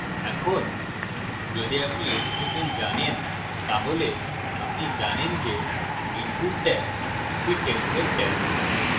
এখন যদি আপনি html জানেন তাহলে আপনি জানেন যে input tag একটি template tag